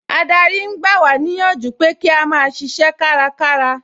Adarí ń gba wá níyànjú pé kí a máa ṣiṣẹ́ kárakára